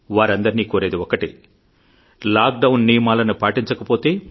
వారందరినీ కోరేది ఒక్కటే లాక్ డౌన్ నియమాలను పాటించకపోతే